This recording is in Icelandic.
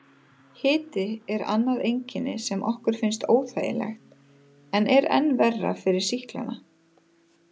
Hiti er annað einkenni sem okkur finnst óþægilegt en er enn verra fyrir sýklana.